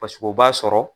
Paseke o b'a sɔrɔ